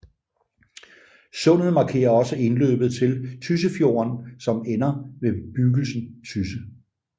Sundet markerer også indløbet til Tyssefjorden som ender ved bebyggelsen Tysse